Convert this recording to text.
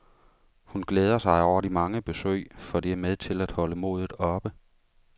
Hun glæder sig over de mange besøg, for det er med til at holde modet oppe.